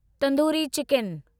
tandoori chicken